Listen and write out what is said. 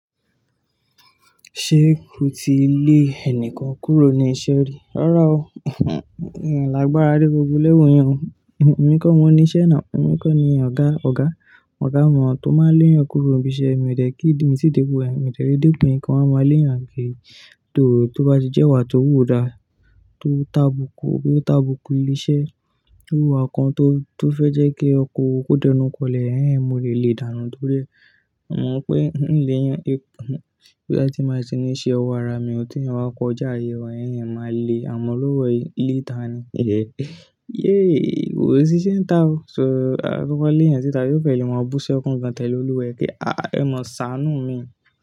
Ṣé o ti lé ẹnìkan kúrò ní iṣẹ́ rí? Rárá o, mi o làá gbára de gbogbo level yẹn o. Ẹ̀mi kọ́ mo niṣẹ́ náà, ẹ̀mi kọ́ ni ọ̀gá, ọ̀gá, ọ̀gá wọn tó máa lé yẹn kúrò ibi iṣẹ́, èmi ò tẹ̀ kí, mi ti dé béyen, èmi tẹ̀ dé pé kin máa ma lé yàn kíri tó bá ti jẹ́ wà tó wù dá tó tàbùkù bóyá o tàbùkù nibi iṣẹ́, irú ìwà kan tó, tó fẹ́ jẹ́ kí ọkọ̀ wọn kó dẹnukọlẹ̀, ẹ́hẹ́n mo lè le dànù torí ẹ. Mo mọ pé ń léyàn bí a ti máa ṣe ní iṣẹ́, ọwọ́ ara mi, ọtí ẹni wá kọjá ìrẹ̀wà ẹ́hẹ́n máa le, àmọ́ olówó le dàá ni. Yéé kò sí iṣẹ́ ńtà o, ṣo gbọ́ bá léyàn síta kí ó fẹ́ lè máa búṣí ọkùnkan tẹ̀lé olúwe kí a mọ ṣàánù mi.